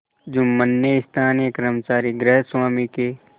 जुम्मन ने स्थानीय कर्मचारीगृहस्वामीके